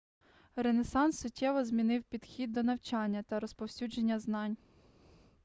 ренесанс суттєво змінив підхід до навчання та розповсюдження знань